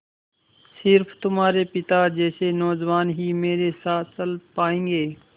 स़िर्फ तुम्हारे पिता जैसे नौजवान ही मेरे साथ चल पायेंगे